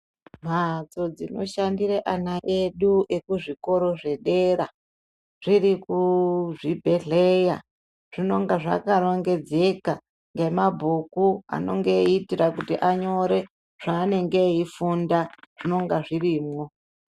Mbatso dzinoshandira ana edu ekuzvikora zvedera zviri kuzvibhedhlera zvinonga zvakarongedzeka nemabhuku eita kuti anyore zvanenge eida kufunda zvinonga zvirimo.